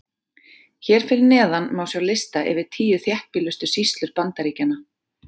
Hér fyrir neðan má sjá lista yfir tíu þéttbýlustu sýslur Bandaríkjanna.